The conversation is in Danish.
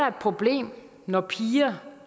et problem når piger